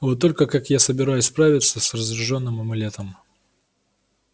вот только как я собираюсь справиться с разряжённым амулетом